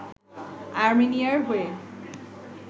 আর্মেনিয়ার হয়ে